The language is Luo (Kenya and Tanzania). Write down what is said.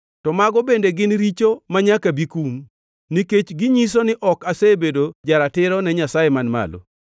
to mago bende gin richo manyaka bi kum, nikech ginyiso ni ok asebedo ja-ratiro ne Nyasaye man malo.